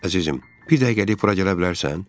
Əzizim, bir dəqiqəlik bura gələ bilərsən?